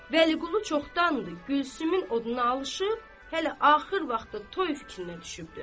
Vəliqulu çoxdandır Gülsümün oduna alışıp hələ axır vaxtı toy fikrinə düşübdür.